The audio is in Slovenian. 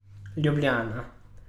Ljubljana.